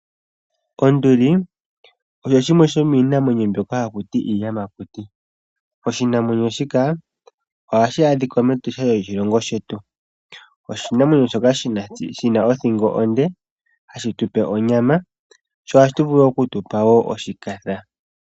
Onduli osho shimwe shomiinamwenyo mbyoka hakuti iiyamakuti. Oshinamwenyo shika ohashi adhika mEtosha lyo shilongo shetu. Oshinamwenyo shoka shina othingo onde, hashi tupe onyama sho ohashi vulu oku tupa wo oshikatha.